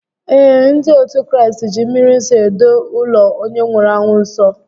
Ee, ndị otu Kraịst ji mmri nsọ edo ụlọ onye nwụrụ anwụ nsọ